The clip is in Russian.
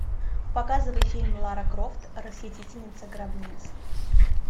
показывай фильм лара крофт расхитительница гробниц